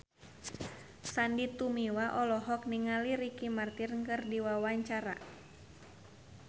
Sandy Tumiwa olohok ningali Ricky Martin keur diwawancara